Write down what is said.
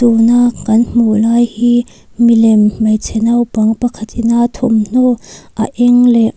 tuna kan hmuh lai hi milem hmeichhe naupang pakhat ina thawmhnaw a eng leh.